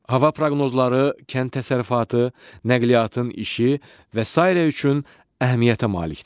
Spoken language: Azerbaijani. Hava proqnozları kənd təsərrüfatı, nəqliyyatın işi və sairə üçün əhəmiyyətə malikdir.